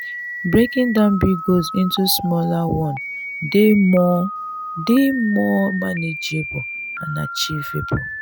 breaking down big goals into smaller one dey more dey more manageable and achievable.